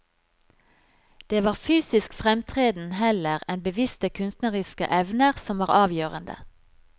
Det var fysisk fremtreden heller enn bevisste kunstneriske evner som var avgjørende.